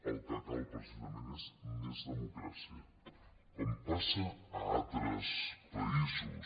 el que cal precisament és més democràcia com passa a altres països